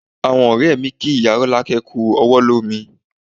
Àwọn ọ̀rẹ́ mi kí ìyá Rolake kú ọwọ́ lómi